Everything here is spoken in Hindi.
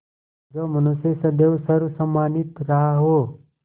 जो मनुष्य सदैव सर्वसम्मानित रहा हो